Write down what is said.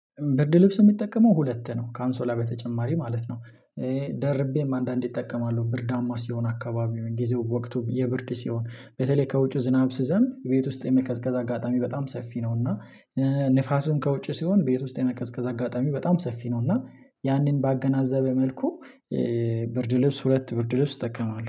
ብርድ ልብስ የሚጠቀመው ሁለት ነው ካንሶላ በተጨማሪ ማለት ነው። ደርቤም አንዳንዴ እጠቀማለሁ ብርዳማ ሲሆን አካባቢው ጊዜው ወቅቱም የብርድ ሲሆን በተለይ ከውጪው ዝናብ ስዘም ቤት ውስጥ የመከዝከዝ አጋጣሚ በጣም ሰፊ ነው። እና ንፋሱን ከውጭ ሲሆን ቤት ውስጥ የመከዝከዝ አጋጣሚው በጣም ሰፊ ነው። እና ያንን ባገናዘበ መልኩ ብርድ ልብስ ሁለት ብርድ ልብስ እጠቀማለሁ